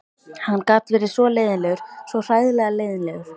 Hann gat verið svo leiðinlegur, svo hræðilega leiðinlegur.